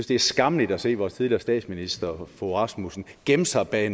det er skammeligt at se vores tidligere statsminister fogh rasmussen gemme sig bag